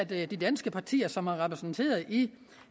ved at de danske partier som er repræsenteret i